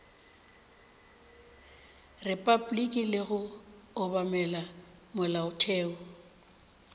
repabliki le go obamela molaotheo